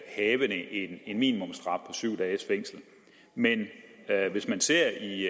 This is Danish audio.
havende en minimumsstraf syv dages fængsel men hvis man ser i